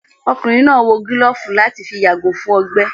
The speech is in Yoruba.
Ọkùnrin náà wò gílófù láti fi yàgò fún ọgbẹ́